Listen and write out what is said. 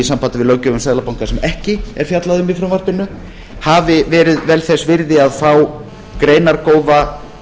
sambandi við löggjöf um seðlabanka sem ekki er fjallað um í frumvarpinu hafi verið vel þess virði að fá greinargóða